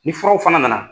Ni furaw fana nana